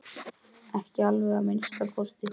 Ekki alveg að minnsta kosti!